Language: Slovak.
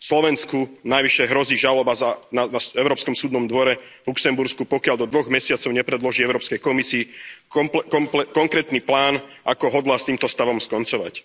Slovensku navyše hrozí žaloba na Európskom súdnom dvore v Luxembursku, pokiaľ do dvoch mesiacov nepredloží Európskej komisii konkrétny plán, ako hodlá s týmto stavom skoncovať.